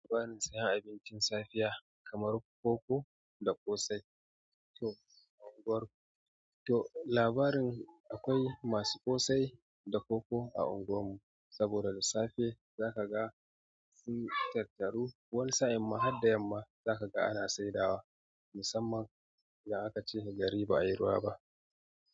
Labarin saya abincin safiya kamar koko da ƙosai. To labarin akwai masu ƙosai da koko a unguwar mu saboda da safe zaka ga sun tattaru wani sa'in ma har da yamma zaka ga ana saidawa musamman in aka ce garin ba a yi ruwa ba.